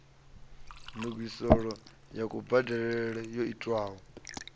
ndungiselo ya kubadelele yo itwaho